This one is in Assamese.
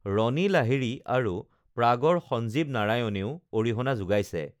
ৰণী লাহিড়ী আৰু প্ৰাগৰ সঞ্জীৱ নাৰায়ণেও অৰিহণা যোগাইছে